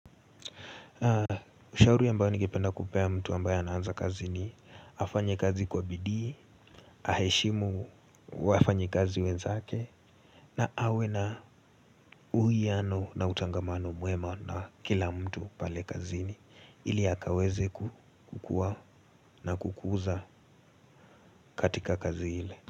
Shauri ambayo ningependa kupea mtu ambayo anaanza kazi ni afanye kazi kwa bidii. Aheshimu wafanyikazi wenzake. Na awe na uwiano na utangamano mwema na kila mtu pale kazini ili akaweze ku kukua na kukuza katika kazi ile.